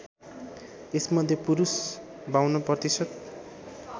यसमध्ये पुरुष ५२ प्रतिशत